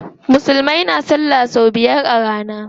Musulmai na salla sau biyar a rana.